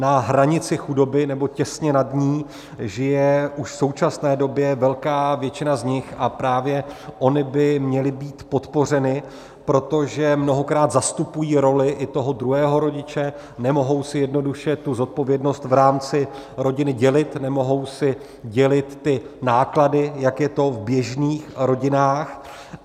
Na hranici chudoby nebo těsně nad ní žije už v současné době velká většina z nich a právě ony by měly být podpořeny, protože mnohokrát zastupují roli i toho druhého rodiče, nemohou si jednoduše tu zodpovědnost v rámci rodiny dělit, nemohou si dělit ty náklady, jak je to v běžných rodinách.